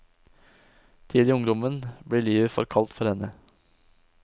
Tidlig i ungdommen blir livet for kaldt for henne.